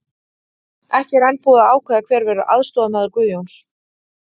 Ekki er enn búið að ákveða hver verður aðstoðarmaður Guðjóns.